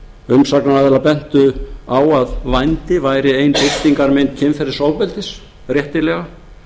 umsagnaraðilar bentu á að vændi væri ein birtingarmynd kynferðisofbeldis réttilega